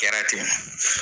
kɛra ten